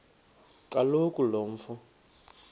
kaloku lo mfo